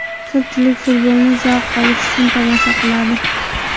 Ko‘pchilik futbolni zavq olish uchun tomosha qiladi.